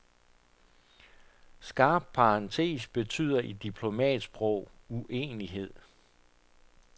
Skarp parentes betyder i diplomatsprog uenighed.